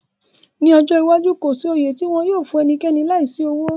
Ni ọjọ iwaju, ko si oyè ti wọn yóò fun ẹnikẹni laisi owo